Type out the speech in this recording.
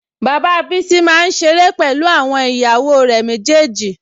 Bàbá Bísí máa ń ṣeré pẹ̀lú àwọn ìyàwó rẹ̀ méjèèjì